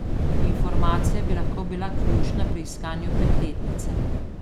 Informacija bi lahko bila ključna pri iskanju petletnice.